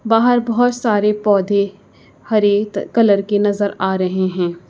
बाहर बहोत सारे पौधे हरे कलर के नजर आ रहे हैं।